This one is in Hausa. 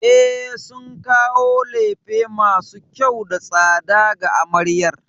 E, sun kawo lefe masu kyau da tsada ga amaryar.